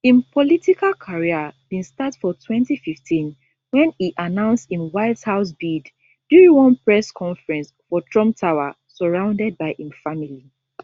im political career bin start for 2015 wen e announce im white house bid during one press conference for trump tower surrounded by im family